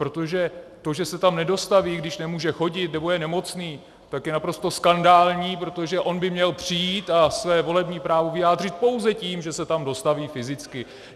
Protože to, že se tam nedostaví, když nemůže chodit nebo je nemocný, tak je naprosto skandální, protože on by měl přijít a své volební právo vyjádřit pouze tím, že se tam dostaví fyzicky.